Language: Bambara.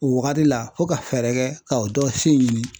O wagati la fo ka fɛɛrɛ kɛ ka o dɔ si ɲini.